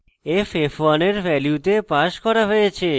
f f1 এর ভ্যালুতে passed করা হয়েছে